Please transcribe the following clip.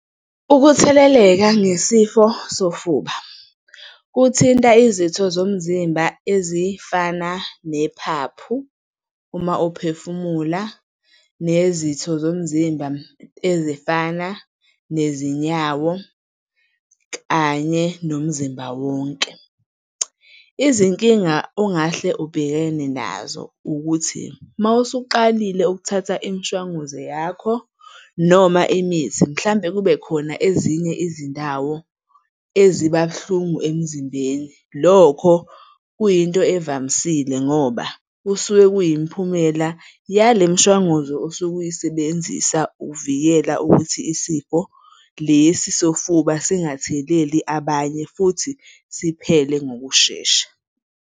Ukutheleleka ngesifo sofuba, kuthinta izitho zomzimba ezifana nephaphu uma uphefumula, nezitho zomzimba ezifana nezinyawo kanye nomzimba wonke. Izinkinga ongahle ubhekene nazo ukuthi uma usuqalile ukuthatha imishwanguzo yakho noma imithi mhlambe kube khona ezinye izindawo eziba buhlungu emzimbeni. Lokho kuyinto evamisile ngoba kusuke luyimiphumela yale mishwanguzo osuke uyisebenzisa ukuvikela ukuthi isifo lesi sofuba singatheleli abanye futhi siphele ngokushesha.